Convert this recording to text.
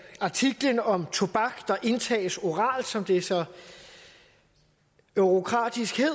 artiklen om tobak der indtages oralt som det så eurokratisk hedder